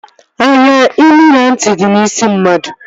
Anya, imi na ntị dị n'isi mmadụ